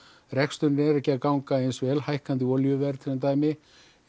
reksturinn er ekki að ganga vel hækkandi olíuverð sem dæmi